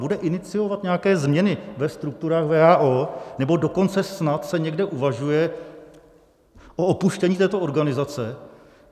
Bude iniciovat nějaké změny ve strukturách WHO, nebo dokonce snad se někde uvažuje o opuštění této organizace?